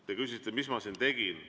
Te küsisite, mis ma siin tegin.